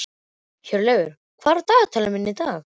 Hjörleif, hvað er á dagatalinu mínu í dag?